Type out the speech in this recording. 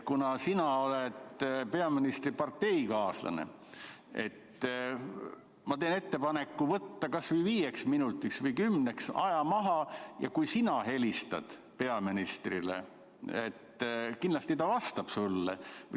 Kuna sina oled peaministri parteikaaslane, siis ma teen ettepaneku võtta kas või viieks minutiks või kümneks minutiks aeg maha, ja kui sina helistad peaministrile või saadad sõnumi, kindlasti ta vastab sulle.